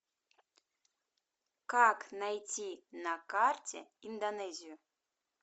как найти на карте индонезию